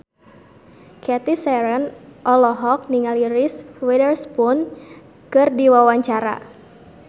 Cathy Sharon olohok ningali Reese Witherspoon keur diwawancara